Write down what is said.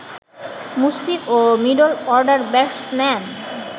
মুশফিক ও middle order batsman